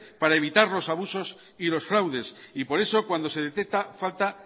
para evitar los abusos y los fraudes por eso cuando se detecta falta